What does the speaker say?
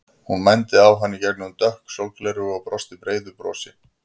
Hún mændi á hann í gegnum dökk sólgleraugu og brosti breiðu brosi.